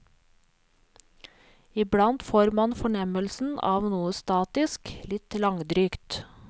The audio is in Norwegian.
Iblant får man fornemmelsen av noe statisk, litt langdrygt.